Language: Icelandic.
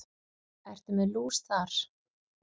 Ertu með hús þar?